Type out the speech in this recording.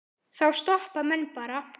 Þá stoppa menn bara.